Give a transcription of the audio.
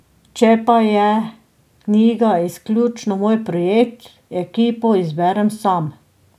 Če pa je knjiga izključno moj projekt, ekipo izberem sam.